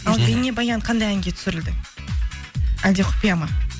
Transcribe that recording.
ал бейнебаян қандай әнге түсірілді әлде құпия ма